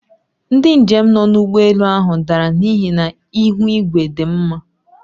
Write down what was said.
Ndị njem nọ n'ụgbọelu ahụ dara n'ihi na ihu igwe dị mma